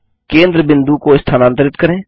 केंद्र बिंदु को स्थानांतरित करें